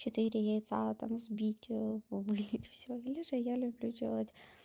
четыре яйца там взбить вылить всё или же я люблю делать